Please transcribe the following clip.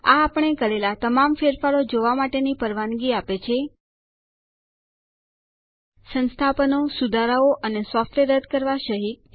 આ આપણે કરેલા તમામ ફેરફારો જોવા માટેની પરવાનગી આપે છે સંસ્થાપનો સુધારાઓ અને સોફ્ટવેર રદ કરવા સહિત